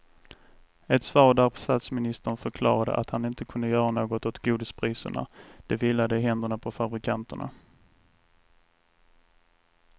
Ett svar där statsministern förklarade att han inte kunde göra något åt godispriserna, det vilade i händerna på fabrikanterna.